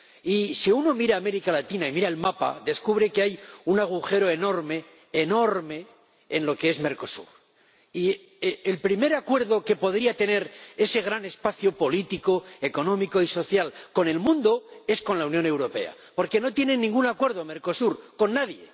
Y si uno mira América Latina y mira el mapa, descubre que hay un agujero enorme, enorme, en lo que es Mercosur, y el primer acuerdo que podría tener ese gran espacio político, económico y social con el mundo es con la Unión Europea, porque no tiene ningún acuerdo Mercosur, con nadie.